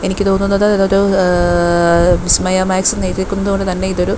എനിക്ക് തോന്നുന്നത് ഇതൊരു ഏഹ് വിസ്മയ മാക്സ് എന്ന് എഴുതിയിരിക്കുന്നത് കൊണ്ട് തന്നെ ഇതൊരു--